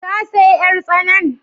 Ka saya yar tsanan?